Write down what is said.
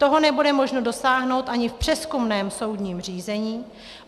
Toho nebude možno dosáhnout ani v přezkumném soudním řízení.